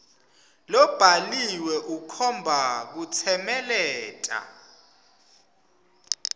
lobhaliwe ukhomba kutsemeleta